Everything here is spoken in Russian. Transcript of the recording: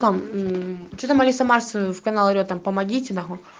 там мм че там алиса марс в канал орет там помогите нахуй